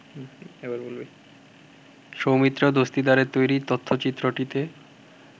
সৌমিত্র দস্তিদারের তৈরি তথ্যচিত্রটিতে